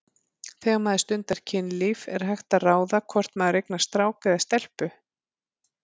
Þegar maður stundar kynlíf er hægt að ráða hvort maður eignast strák eða stelpu?